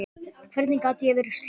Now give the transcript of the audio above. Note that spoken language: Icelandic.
Hvernig gat ég verið slösuð?